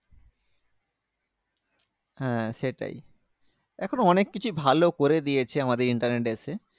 হ্যাঁ সেটাই এখন অনেককিছু ভালো করে দিয়েছে আমাদের internet এসে